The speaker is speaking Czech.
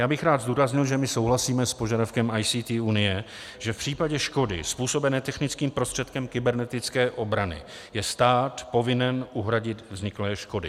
Já bych rád zdůraznil, že my souhlasíme s požadavkem ICT Unie, že v případě škody způsobené technickým prostředkem kybernetické obrany je stát povinen uhradit vzniklé škody.